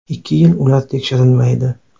Ikki yil ular tekshirilmaydi.